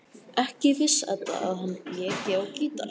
Ekki vissi Edda að hann léki á gítar.